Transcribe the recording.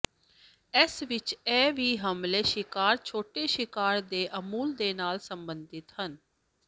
ਇਸ ਵਿਚ ਇਹ ਵੀ ਹਮਲੇ ਸ਼ਿਕਾਰ ਛੋਟੇ ਸ਼ਿਕਾਰ ਦੇ ਅਸੂਲ ਦੇ ਨਾਲ ਸੰਬੰਧਿਤ ਹੈ